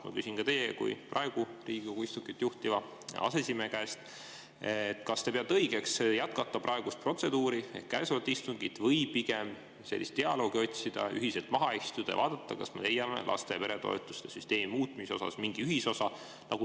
Ma küsin ka teie kui praegu Riigikogu istungit juhtiva aseesimehe käest, kas te peate õigeks jätkata praegust protseduuri ehk käesolevat istungit või pigem sellist dialoogi otsida, ühiselt maha istuda ja vaadata, kas me leiame laste‑ ja peretoetuste süsteemi muutmisel mingi ühisosa.